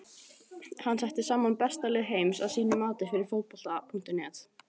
Hann setti saman besta lið heims að sínu mati fyrir Fótbolta.net.